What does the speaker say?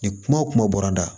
Ni kuma o kuma bɔra n da